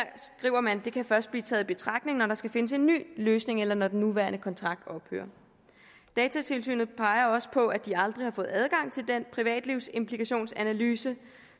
skriver man kan først blive taget i betragtning når der skal findes en ny løsning eller når den nuværende kontrakt ophører datatilsynet peger også på at de aldrig har fået adgang til den privatlivsimplikationsanalyse